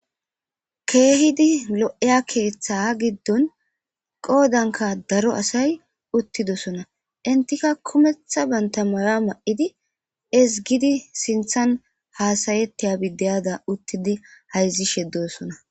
Keehidi lo7eya keeththa giddon qoodanka daro asay uttidosona intika kumetha banta mara ma7idi esgidi sinthan haasayettiya bideyada uttidi hayzi she dosona.